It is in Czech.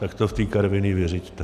Tak to v té Karviné vyřiďte!